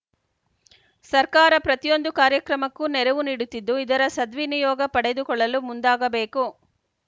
ಸರ್ಕಾರ ಪ್ರತಿಯೊಂದು ಕಾರ್ಯಕ್ರಮಕ್ಕೂ ನೆರವು ನೀಡುತ್ತಿದ್ದು ಇದರ ಸದ್ವಿನಿಯೋಗ ಪಡೆದುಕೊಳ್ಳಲು ಮುಂದಾಗಬೇಕು